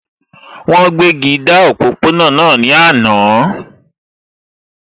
Wọ́n gbéji dá òpópó-ọ̀nà náà ní àná